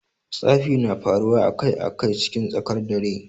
Tsafi na faruwa a Kai a Kai cikin tsakar dare.